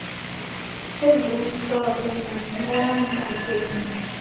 ezimhlophe namnyama zobisi